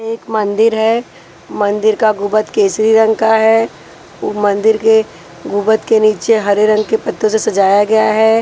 एक मंदिर है मंदिर का गुबद केसरी रंग का है मंदिर के गुबद के नीचे हरे रंग के पत्तों से सजाया गया है।